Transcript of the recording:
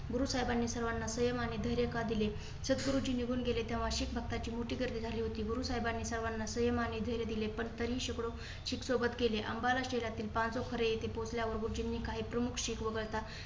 गुरुसाहेबानी सर्वांना संयम आणि धैर्य का दिले? सद्गुरूजी निघून गेले तेव्हा शिखभक्ताची मोठी गर्दी झाली होती. गुरुसाहेबाने सर्वांना संयम आणि धैर्य दिले, पण तरीही शेकडो शीख सोबत केले. अंबाला शहरातील पाँचसौ खरे येथे पोहचल्यावर गुरुजींनी काही प्रमुख शीख वगळता